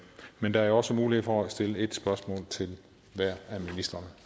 men der er også nu mulighed for at stille ét spørgsmål til hver af ministrene